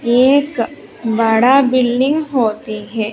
एक बड़ा बिल्डिंग होती है।